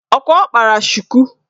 Ọkwa ọ kpara shuku?